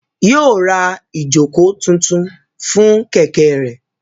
Yóò ra ìjókòó tuntun fún Kẹ̀kẹ́ rẹ̀